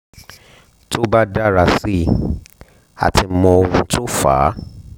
tó bá dára sí i a ti mọ ohun tó fa á